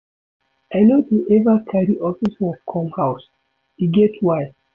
I no dey eva carry office work come house, e get why.